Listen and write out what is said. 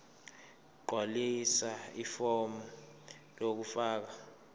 gqwalisa ifomu lokufaka